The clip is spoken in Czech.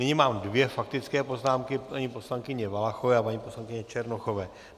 Nyní mám dvě faktické poznámky - paní poslankyně Valachové a paní poslankyně Černochové.